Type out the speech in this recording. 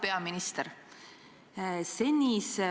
Hea peaminister!